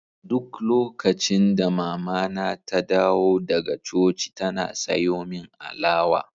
Duk lokacin da mamana ta dawo daga coci tana sayo min alawa.